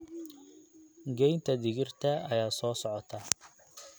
Goynta digirta ayaa soo socota.